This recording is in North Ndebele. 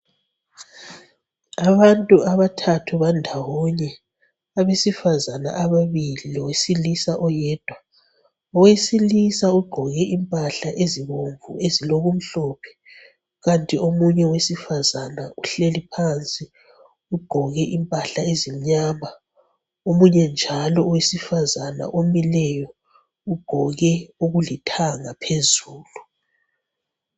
Abantu abathathu bandawonye ,abesifazana ababili lowesilisa oyedwa. Owesilisa ugqoke impahla ezibomvu ezilokumhlophe kanti omunye owesifazana uhleli phansi ugqoke impahla ezimnyama, omunye njalo owesifazana omileyo ugqoke okulithanga phezulu.